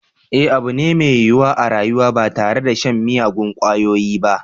Eh abu ne mai yiwuwa a rayuwa ba tare da shan miyagun kwayoyi ba